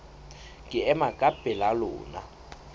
ke ema ka pela lona